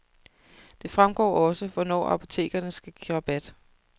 Det fremgår også, hvornår apotekerne skal give rabat.